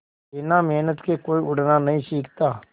बिना मेहनत के कोई उड़ना नहीं सीखता